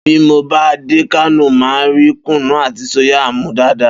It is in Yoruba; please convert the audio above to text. Bí mo bá dé Kánò, màá rí kùnnú àti sóyà mu dáadáa